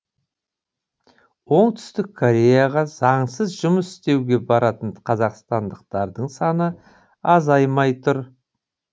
оңтүстік кореяға заңсыз жұмыс істеуге баратын қазақстандықтардың саны азаймай тұр